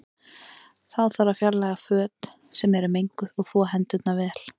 Þá þarf að fjarlæga föt sem eru menguð og þvo hendurnar vel.